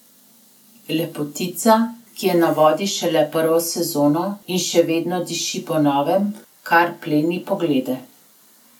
Lepotica, ki je na vodi šele prvo sezono in še vedno diši po novem, kar pleni poglede.